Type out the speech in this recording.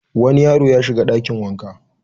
Wani yaro ya shiga ɗakin wanka.